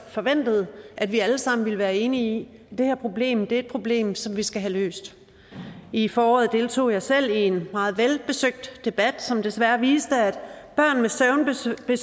forventet at vi alle sammen ville være enige i at det her problem er et problem som vi skal have løst i foråret deltog jeg selv i en meget velbesøgt debat som desværre viste at børn med søvnbesvær